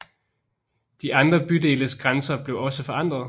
De andre bydeles grænser blev også forandret